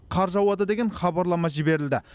қар жауады деген хабарлама жіберілді